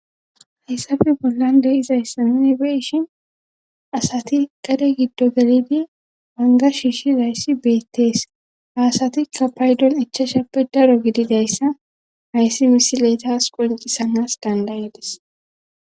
hayssafe bollan de izayssa nuni beishin asati gade giddo gelidi banga shiishi layssi beettees haasatikka paydon echchashappe daro gididayssa hayssi misiletas qoncisanas dandayedis